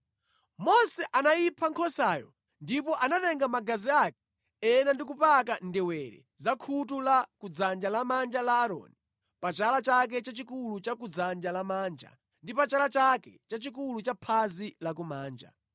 Mose anayipha nkhosayo ndipo anatenga magazi ake ena ndi kupaka ndewere za khutu la kudzanja lamanja la Aaroni, pa chala chake chachikulu cha kudzanja lamanja, ndi pa chala chake chachikulu cha phazi lakumanja.